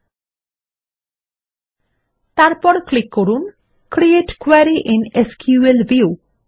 এবং তারপর ক্লিক করুন create query IN SQL view